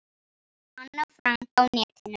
Anna Frank á netinu.